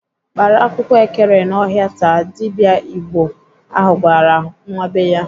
"Kpara akwụkwọ ekere n'ọhịa taa!" Dibịa Igbo ahụ gwara nwa be ya.